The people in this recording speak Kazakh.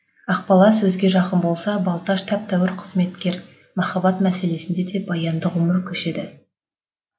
ақбала сөзге жақын болса балташ тәп тәуір қызметкер махаббат мәселесінде де баянды ғұмыр көшеді